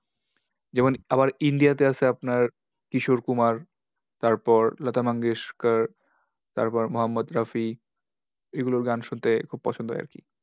যেমন আবার India তে আছে আপনার কিশোর কুমার, তারপর লতা মঙ্গেশকর, তারপর মহম্মদ রফি, এগুলোর গান শুনতে খুব পছন্দ হয় আর কি।